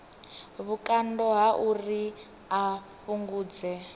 vhukando ha uri a fhungudze